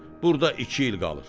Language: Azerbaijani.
Burda iki il qalır.